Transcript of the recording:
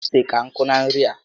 Ose ka nkụ na nri a